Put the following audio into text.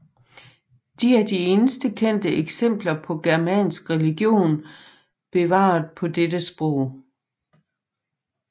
De er de eneste kendte eksempler på germansk religion bevaret på dette sprog